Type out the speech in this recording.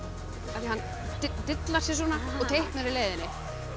af því hann dillar sér svona og teiknar í leiðinni